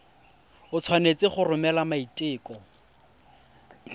o tshwanetse go romela maiteko